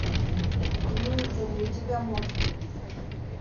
имеется ли у тебя морфий